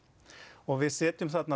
og við setjum